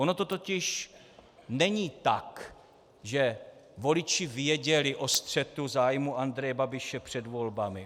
Ono to totiž není tak, že voliči věděli o střetu zájmů Andreje Babiše před volbami.